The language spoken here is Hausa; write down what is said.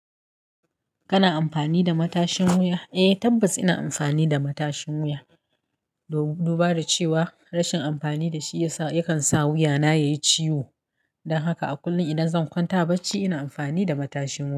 Kana amfani da matashin wuya? Eh tabbas ina amfani da matashin wuya, do-dubara cewa rashin amfani da shi ya sa, yakan sa wuya na yayi ciwo. Dan haka a kullum idan zan kwanta a bacci ina amfani da matashin wuya.